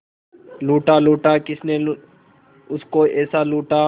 लूटा लूटा किसने उसको ऐसे लूटा